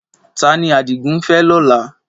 Ta ni Adigun ń fẹ́ lọ́la?